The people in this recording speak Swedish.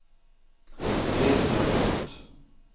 reserapport